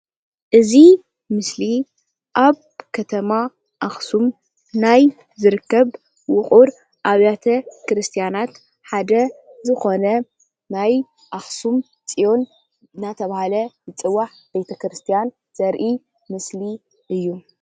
እዚ ምስሊ ኣብ ከተማ ኣክሱም ናይ ዝርከብ ውቅር ኣባቴ ክርስትያናት ሓደ ዝኾነ ናይ ኣክሱም ፆዮን እንዳተባሃለ ዝፅዋዕ ቤቴ ክርስትያን ዘርኢ ምስሊ እዩ።